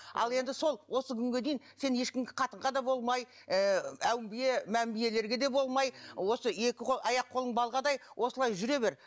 ал енді сол осы күнге дейін сен ешкімге қатынға да болмай ы әулие мәмбиелерге де болмай осы екі қол аяқ қолың балғадай осылай жүре бер